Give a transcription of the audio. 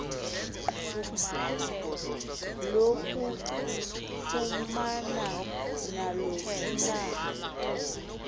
lokufumana naluphi na